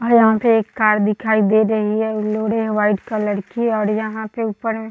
और यहाँ पे एक कार दिखाई दे रही है वाइट कलर की और यहाँ पे ऊपर में --